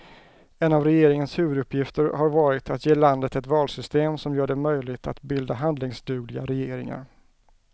En av regeringens huvuduppgifter har varit att ge landet ett valsystem som gör det möjligt att bilda handlingsdugliga regeringar.